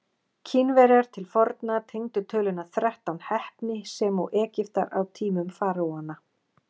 Kínverjar til forna tengdu töluna þrettán heppni sem og Egyptar á tímum faraóanna.